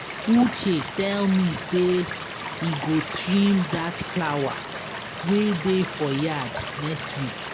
Uche tell me say you go trim dat flower wey dey for that yard here next.